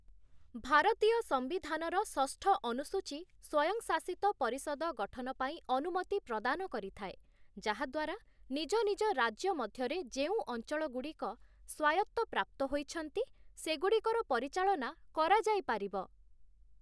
ଭାରତୀୟ ସମ୍ବିଧାନର ଷଷ୍ଠ ଅନୁସୂଚୀ ସ୍ୱୟଂଶାସିତ ପରିଷଦ ଗଠନ ପାଇଁ ଅନୁମତି ପ୍ରଦାନ କରିଥାଏ, ଯାହାଦ୍ୱାରା ନିଜ ନିଜ ରାଜ୍ୟ ମଧ୍ୟରେ ଯେଉଁ ଅଞ୍ଚଳଗୁଡ଼ିକ ସ୍ୱାୟତ୍ତ ପ୍ରାପ୍ତ ହୋଇଛନ୍ତି, ସେଗୁଡ଼ିକର ପରିଚାଳନା କରାଯାଇପାରିବ ।